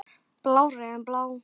Blárri en blá.